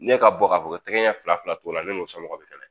Ne ka bɔ ka bɔ tɛgɛ ɲɛ fila t'o la ne n'o somɔgɔ bɛ kɛnɛ